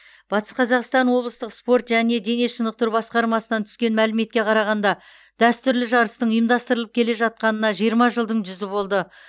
батыс қазақстан облыстық спорт және дене шынықтыру басқармасынан түскен мәліметке қарағанда дәстүрлі жарыстың ұйымдастырылып келе жатқанына жиырма жылдың жүзі болды